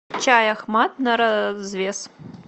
чай ахмад на развес